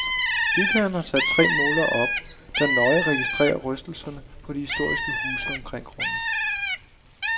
Bygherren har sat tre målere op, der nøje registrerer rystelserne på de historiske huse omkring grunden.